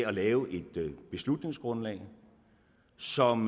at lave et beslutningsgrundlag som